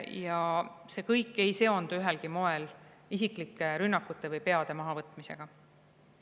Ja see kõik ei seondu ühelgi moel isiklike rünnakute või peade maha võtmisega.